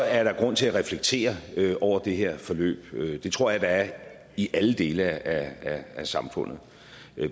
er der grund til at reflektere over det her forløb det tror jeg der er i alle dele af samfundet